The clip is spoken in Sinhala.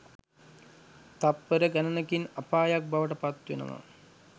තත්පර ගණනකින් අපායක් බවට පත් වෙනවා.